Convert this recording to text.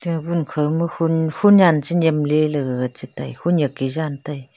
tabun khauma khun khunyan chi nyemley la gag chitai khunyak ke jantai.